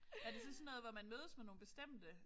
Er det så sådan noget hvor man mødes med nogle bestemte?